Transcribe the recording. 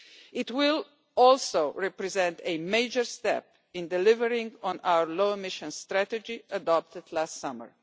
It will also represent a major step in delivering on our low emission strategy adopted last summer.